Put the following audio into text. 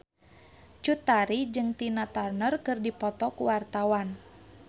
Cut Tari jeung Tina Turner keur dipoto ku wartawan